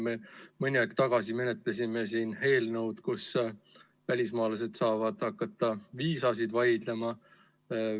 Me mõni aeg tagasi menetlesime siin eelnõu, kus välismaalased saavad hakata viisasid vaidlustama.